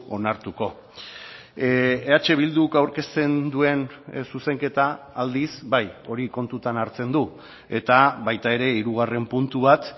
onartuko eh bilduk aurkezten duen zuzenketa aldiz bai hori kontutan hartzen du eta baita ere hirugarren puntu bat